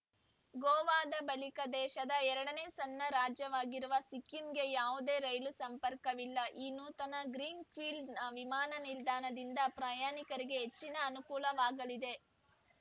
ಗೋವಾದ ಬಳಿಕ ದೇಶದ ಎರಡನೇ ಸಣ್ಣ ರಾಜ್ಯವಾಗಿರುವ ಸಿಕ್ಕಿಂಗೆ ಯಾವುದೇ ರೈಲು ಸಂಪರ್ಕವಿಲ್ಲ ಈ ನೂತನ ಗ್ರೀನ್‌ ಫೀಲ್ಡ ವಿಮಾನ ನಿಲ್ದಾಣದಿಂದ ಪ್ರಯಾಣಿಕರಿಗೆ ಹೆಚ್ಚಿನ ಅನುಕೂಲವಾಗಲಿದೆ